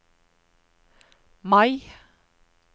Mai